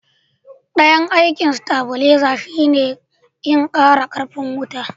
dayan aikin stabileza shi ne in kara karfin wuta